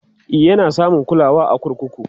e Yana samun kulawa a kurkuku